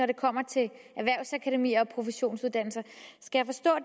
det kommer til erhvervsakademier og professionsuddannelser skal